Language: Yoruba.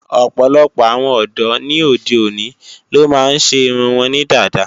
Ọ̀pọ̀lọpọ̀ àwọn ọ̀dọ́ ni óde òní ló máa ń ṣe irun wọn ní dada